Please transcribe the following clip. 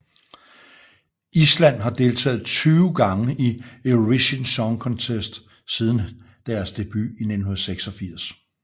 Island har deltaget 20 gange i Eurovision Song Contest siden deres debut i 1986